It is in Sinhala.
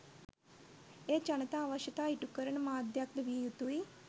එය ජනතා අවශ්‍යතා ඉටුකරන මාධ්‍යයක් ද විය යුතුයි